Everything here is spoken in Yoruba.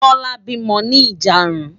Tola bímò ni ijàárùn